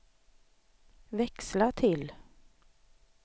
växla till